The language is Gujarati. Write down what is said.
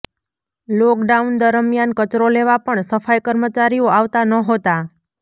લોકડાઉન દરમિયાન કચરો લેવા પણ સફાઈ કર્મચારીઓ આવતા નહોતાં